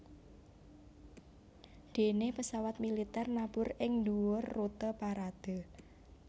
Déné pesawat militer nabur ing dhuwur rute parade